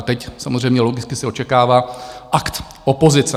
A teď samozřejmě logicky se očekává akt opozice.